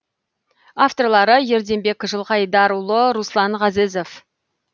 авторлары ерденбек жылқайдарұлы руслан ғазезов